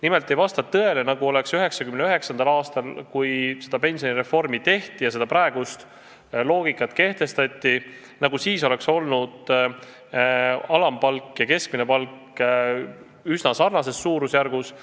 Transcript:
Nimelt ei vasta tõele, et 1999. aastal, kui pensionireform käivitati ja kehtestati praegune loogika, olid alampalk ja keskmine palk üsna samas suurusjärgus.